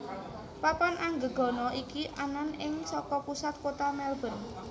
Papan Anggegana iki anan ing saka pusat kota Melbourne